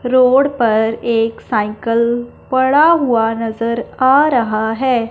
Road पर एक cycle पड़ा हुआ नजर आ रहा है।